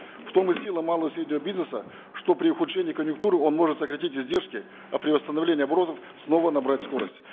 в том и сила малого и среднего бизнеса что при ухудшении конъюнктуры он может сократить издержки а при восстановлении оборотов снова набрать скорость